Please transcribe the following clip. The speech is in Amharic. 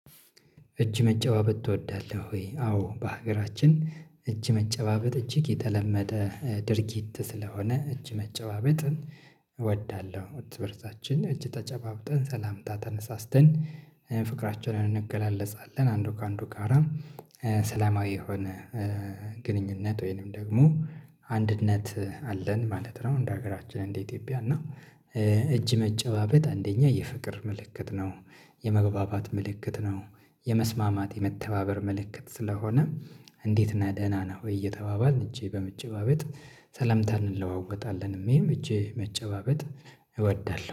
እጅ መጨባበጥ ትወዳለህ ወይ? አዎ በሀገራችን እጅ መጨባበጥ እጅግ የተለመደ ድርጊት ስለሆነ እጅ መጨባበጥን እወዳለሁ። ትብርታችን እጅ ተጨባብጠን ሰላምታ ተነሳስተን ፍቅራቸውን እንገላለጻለን አንዱ ከአንዱ ጋራ። ሰላማዊ የሆነ ግንኙነት ወይንም ደግሞ አንድነት አለን ማለት ነው። እንደ ሀገራችን እንደ ኢትዮጵያ እና እጅ መጨባበት አንደኛ የፍቅር ምልክት ነው። የመግባባት ምልክት ነው። የመስማማት የመተባበር ምልክት ስለሆነ እንዴት ነህ ደህና ነህ ወይ እየተባባልን እጄ በምጭባበጥ ሰላምታ እንለዋወጣለን ይሄም እጄ መጨባበጥ እወዳለሁ